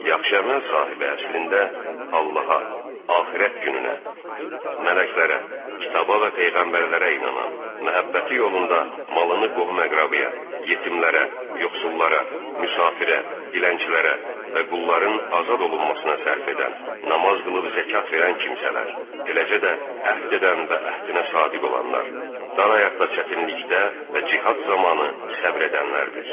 Yaxşı əməl sahibi əslində Allaha, axirət gününə, mələklərə, kitaba və peyğəmbərlərə inanan, məhəbbəti yolunda malını qohum-əqrəbaya, yetimlərə, yoxsullara, müsafirə, dilənçilərə və qulların azad olunmasına sərf edən, namaz qılıb zəkat verən kimsələr, eləcə də əhd edən və əhdinə sadiq olanlar, dara ayaqda, çətinlikdə və cihad zamanı səbr edənlərdir.